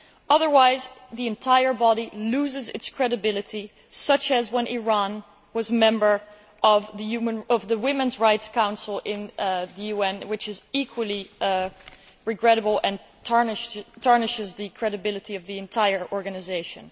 Otherwise the entire body loses its credibility, such as when Iran was a member of the Women's Rights Council in the UN, which is equally regrettable and tarnishes the credibility of the entire organisation.